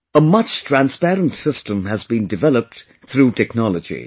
A much transparent system has been developed through technology